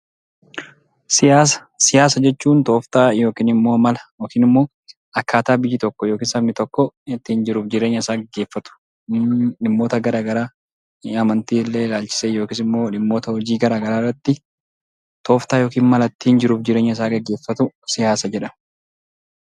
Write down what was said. Siyaasa jechuun tooftaa yookiin mala yookiin akkaataa biyyi tokko yookiin sabni tokko ittiin jiruuf jireenya isaa gaggeeffatu akkasumas dhimmoota garagaraa amantii ilaalchisee yookiin immoo dhimmoota hojiiwwan garagaraa irratti tooftaa jiruuf jireenya isaa gaggeeffatu siyaasa jedhama.